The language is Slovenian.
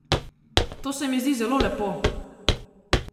To se mi zdi zelo lepo.